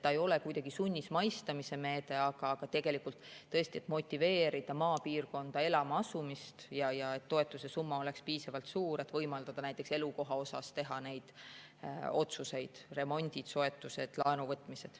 See ei ole kuidagi sunnismaistamise meede, aga tõesti, see peaks motiveerima maapiirkonda elama asumist ja toetuse summa peaks olema piisavalt suur, et võimaldada näiteks teha otsuseid elukoha jaoks: remondid, soetused, laenuvõtmised.